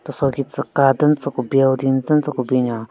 Teso ki tsü ka den tsü ku building den tsü ku binyon.